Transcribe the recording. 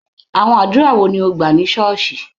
Àwọn àdúrà wo ni o gbà ní ṣọ́ọ̀ṣì?